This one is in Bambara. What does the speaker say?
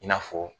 I n'a fɔ